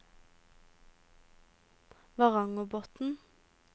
Varangerbotn